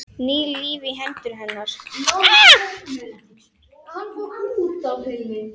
Ný lífi í hendur hennar.